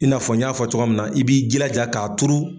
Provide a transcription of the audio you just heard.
I n'a fɔ n y'a fɔ cogoya min na i b'i jilaja k'a tuuru.